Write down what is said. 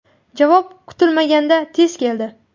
Javob kutilmaganda tez keldi.